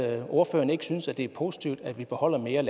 at ordføreren ikke synes det er positivt at vi beholder mere